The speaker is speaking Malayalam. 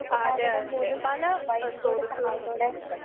അതെ അതെ പല സ്രോതസ്സുകളുമുണ്ട് നമുക്ക്.